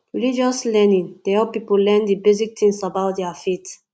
religious learning dey help pipo learn di basic things about their faith